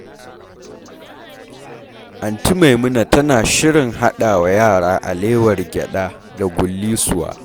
Aunty Maimuna tana shirin haɗa wa yara alewar gyaɗa da gullisuwa.